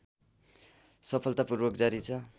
सफलतापूर्वक जारी छ